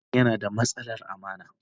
Hassan yana da matsalar amana.